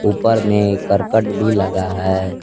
ऊपर में करकट भी लगा है।